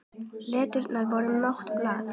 Letrað var mitt blað.